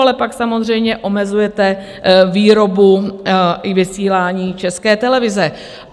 Ale pak samozřejmě omezujete výrobu i vysílání České televize.